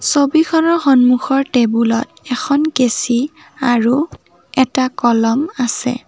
ছবিখনৰ সন্মুখৰ টেবুল ত এখন কেচি আৰু এটা কলম আছে।